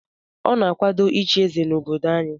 Ọ na-akwado ịchị eze na obodo anyị?